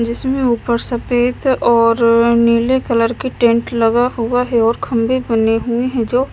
जिसमें ऊपर सफेद और नीले कलर की टेंट लगा हुआ है और खंभे बने हुए हैं जो--